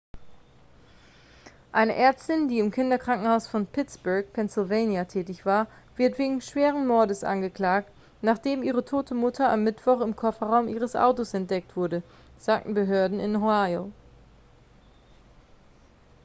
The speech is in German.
eine ärztin die im kinderkrankenhaus von pittsburgh pennsylvania tätig war wird wegen schweren mordes angeklagt nachdem ihre tote mutter am mittwoch im kofferraum ihres autos entdeckt wurde sagen behörden in ohio